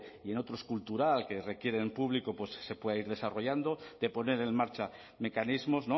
y en otros cultural que requieren público se puedan ir desarrollando de poner en marcha mecanismos